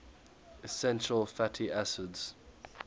essential fatty acids